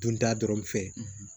Dunta dɔrɔn fɛ